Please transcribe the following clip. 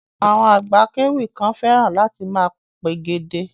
Àwọn àgbà akéwì kan fẹ́ràn láti máa pègèdè.